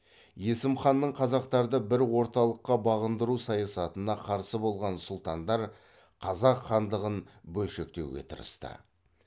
есім ханның қазақтарды бір орталыққа бағындыру саясатына қарсы болған сұлтандар қазақ хандығын бөлшектеуге тырысты